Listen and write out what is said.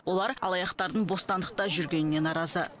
олар алаяқтардың бостандықта жүргеніне наразы